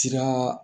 Sira